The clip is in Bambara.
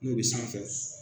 N'o bɛ sanfɛ